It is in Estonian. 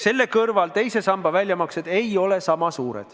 Samas teise samba väljamaksed selle juures ei ole sama suured.